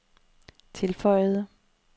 tilføjede